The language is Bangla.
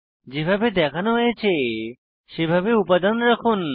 যেভাবে দেখানো হয়েছে সেভাবে উপাদান রাখুন